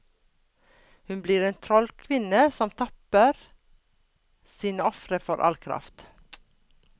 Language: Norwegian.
Hun blir en trollkvinne som tapper sine ofre for all kraft.